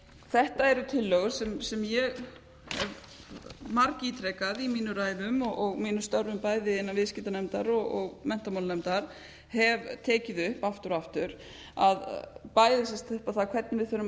þetta eru tillögur sem ég hef margítrekað í mínum ræðum og mínum störfum bæði innan viðskiptanefndar og menntamálanefndar hef tekið upp aftur og aftur bæði upp á það hvernig við þurfum að